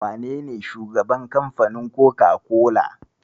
Wanene shugaban kamfanin Koka-kola?